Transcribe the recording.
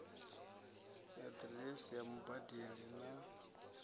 na diresi ya mubadeli na